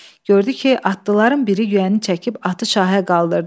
Gördü ki, atlıların biri yüyəni çəkib atı şahə qaldırdı.